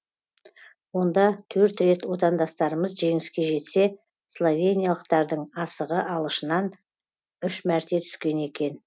онда төрт рет отандастарымыз жеңіске жетсе словениялықтардың асығы алышынан үш мәрте түскен екен